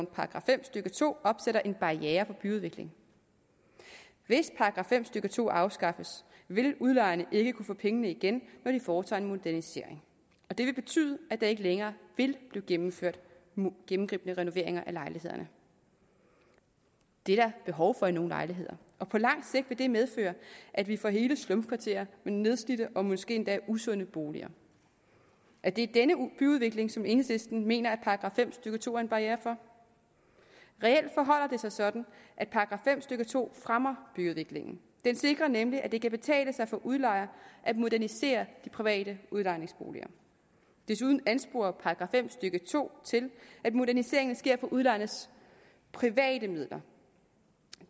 § fem stykke to opstiller en barriere for byudvikling hvis § fem stykke to afskaffes vil udlejerne ikke kunne få pengene igen når de foretager en modernisering og det vil betyde at der ikke længere vil blive gennemført gennemgribende renoveringer af lejlighederne det er der behov for i nogle lejligheder på langt sigt vil det medføre at vi får hele slumkvarterer med nedslidte og måske endda usunde boliger er det denne byudvikling som enhedslisten mener at § fem stykke to er en barriere for reelt forholder det sig sådan at § fem stykke to fremmer byudviklingen den sikrer nemlig at det kan betale sig for udlejere at modernisere de private udlejningsboliger desuden ansporer § fem stykke to til at moderniseringer sker for udlejernes private midler